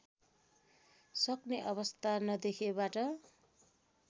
सक्ने अवस्था नदेखिएबाट